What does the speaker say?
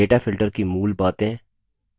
data filtering की मूल बातें